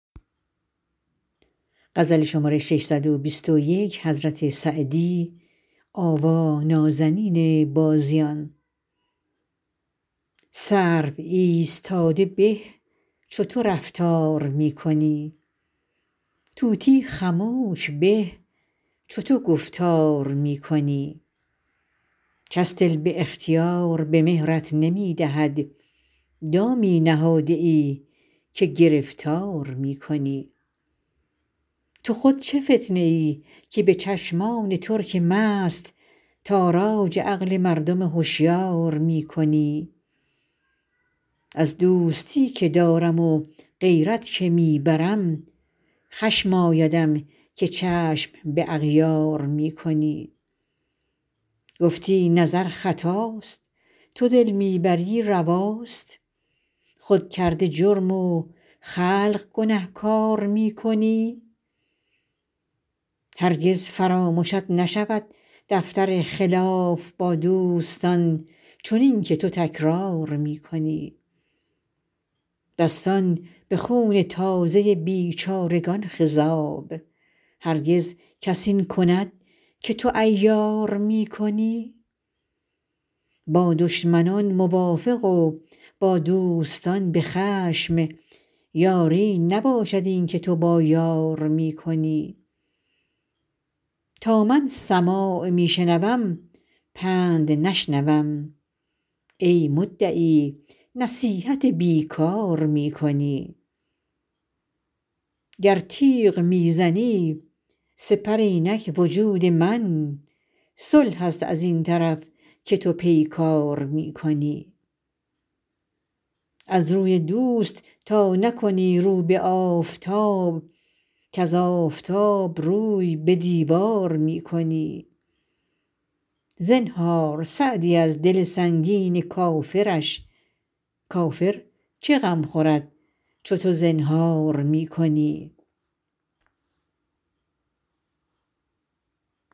سرو ایستاده به چو تو رفتار می کنی طوطی خموش به چو تو گفتار می کنی کس دل به اختیار به مهرت نمی دهد دامی نهاده ای که گرفتار می کنی تو خود چه فتنه ای که به چشمان ترک مست تاراج عقل مردم هشیار می کنی از دوستی که دارم و غیرت که می برم خشم آیدم که چشم به اغیار می کنی گفتی نظر خطاست تو دل می بری رواست خود کرده جرم و خلق گنهکار می کنی هرگز فرامشت نشود دفتر خلاف با دوستان چنین که تو تکرار می کنی دستان به خون تازه بیچارگان خضاب هرگز کس این کند که تو عیار می کنی با دشمنان موافق و با دوستان به خشم یاری نباشد این که تو با یار می کنی تا من سماع می شنوم پند نشنوم ای مدعی نصیحت بی کار می کنی گر تیغ می زنی سپر اینک وجود من صلح است از این طرف که تو پیکار می کنی از روی دوست تا نکنی رو به آفتاب کز آفتاب روی به دیوار می کنی زنهار سعدی از دل سنگین کافرش کافر چه غم خورد چو تو زنهار می کنی